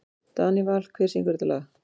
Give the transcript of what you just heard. Danival, hver syngur þetta lag?